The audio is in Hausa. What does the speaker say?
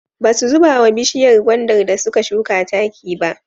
Ba su zuba wa bishiyar gwandar da suka shuka taki ba.